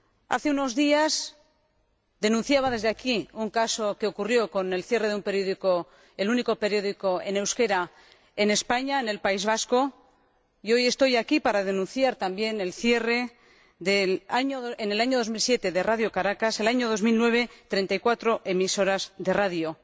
Hace unos días denunciaba desde aquí un caso que ocurrió con el cierre del único periódico en euskera, en España, en el País Vasco, y hoy estoy aquí para denunciar también el cierre, en el año 2007, de Radio Caracas y, en el año 2009, de 34 emisoras de radio.